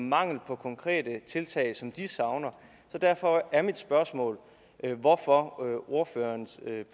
mangel på konkrete tiltag som de savner derfor er mit spørgsmål hvorfor har ordførerens